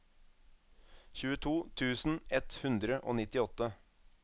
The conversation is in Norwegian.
tjueto tusen ett hundre og nittiåtte